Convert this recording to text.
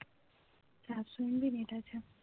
চারশো MBNet আছে